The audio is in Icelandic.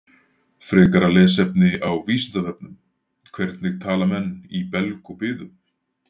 Frekara lesefni á Vísindavefnum: Hvernig tala menn í belg og biðu?